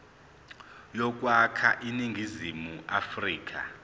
yokwakha iningizimu afrika